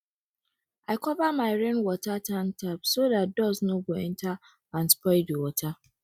i cover my rainwater tank tap so dat dust no go enter and spoil the water